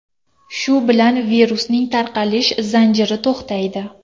Shu bilan virusning tarqalish zanjiri to‘xtaydi.